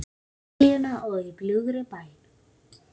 Liljuna og Í bljúgri bæn.